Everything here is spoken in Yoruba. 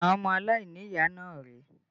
Àwọn ọmọ aláìníyàá náà rèé